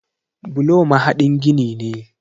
Bulo mahaɗin gini ne.